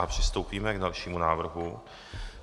A přistoupíme k dalšímu návrhu.